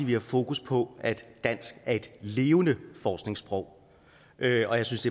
vi har fokus på at dansk er et levende forskningssprog og jeg synes